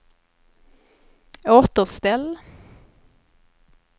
återställ